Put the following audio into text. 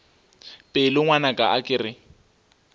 pelo ngwanaka a ke re